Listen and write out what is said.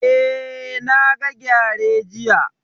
Eh, na ga gyare jiya